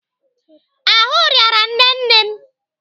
Ahụ rịara nne nne m.